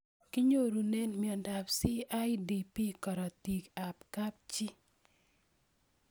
Kinyorune miondop CIDP karatik ab kapchii